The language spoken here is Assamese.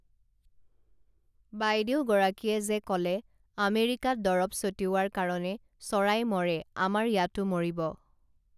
বাইদেউগৰাকীয়ে যে কলে আমেৰিকাত দৰব ছটিওৱাৰ কাৰণে চৰাই মৰে আমাৰ ইয়াতো মৰিব